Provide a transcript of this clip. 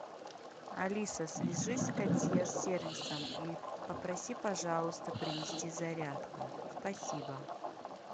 алиса свяжись с консьерж сервисом и попроси пожалуйста принести зарядку спасибо